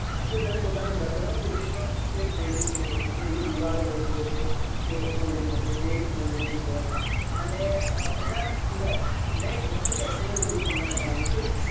તમે પોતનું ઘર બનાવશો તે પન તે folding થઈ સક્સે એવી દીવાલો બની જશે કે folding થશે કે bed folding હોય અને એના સિવાય મસ્ત technology વિશે જાણયુ છે